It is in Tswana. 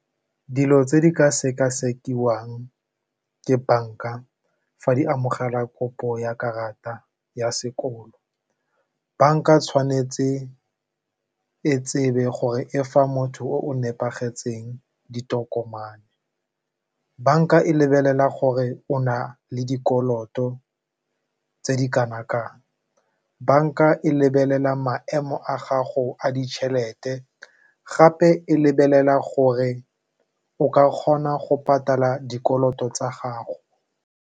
Dilo tse di ka sekasekiwang ke banka fa di amogela kopo ya karata ya sekolo, banka tshwanetse e tsebe gore e fa motho o nepagetseng ditokomane. Banka e lebelela gore o na le dikoloto tse di kana kang, banka e lebelela maemo a gago a ditšhelete gape e lebelela gore o ka kgona go patala dikoloto tsa gago.